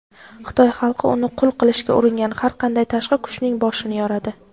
Xitoy xalqi uni qul qilishga uringan har qanday tashqi kuchning "boshini yoradi".